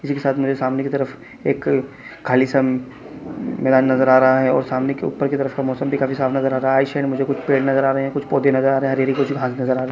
इसी के साथ मुझे सामने की तरफ एक खाली सा मैदान नज़र आ रहा है और सामने की ऊपर की तरफ का मौसम भी काफी साफ नज़र आ रहा है आइड साइड मुझे कुछ पेड़ नज़र आ रहा है कई पौधे नज़र आ रहे है हरी-हरी घाँस नज़र आ रहे --